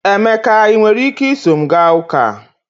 Emeka, ị nwere ike iso m gaa ụka?